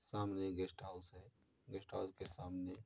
सामने guest house है। Guest house के सामने --